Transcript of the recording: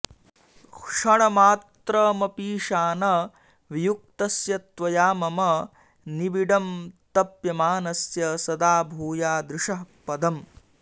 क्षणमात्रमपीशान वियुक्तस्य त्वया मम निबिडं तप्यमानस्य सदा भूया दृशः पदम्